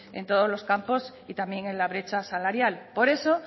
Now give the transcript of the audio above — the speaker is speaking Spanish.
en todos los campos y también en la brecha salarial por eso